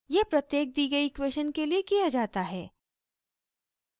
यह प्रत्येक दी गयी इक्वेशन के लिए किया जाता है